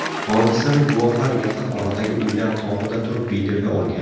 Hodisani guvohlar yaqin oradagi uylar tomida turib videoga olgan.